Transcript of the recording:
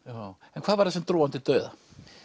en hvað var það sem dró hann til dauða